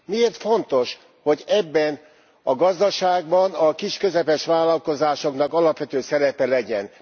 Miért fontos, hogy ebben a gazdaságban a kis és közepes vállalkozásoknak alapvető szerepe legyen?